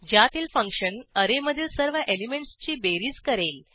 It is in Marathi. ज्यातील फंक्शन ऍरेमधील सर्व एलिमेंटसची बेरीज करेल